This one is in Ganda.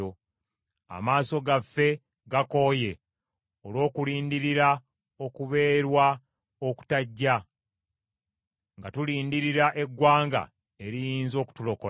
Amaaso gaffe gakooye olw’okulindirira okubeerwa okutajja; nga tulindirira eggwanga eriyinza okutulokola.